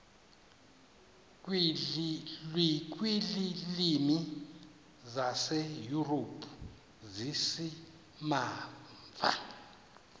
kwiilwimi zaseyurophu zizimamva